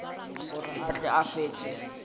gore a tle a fetše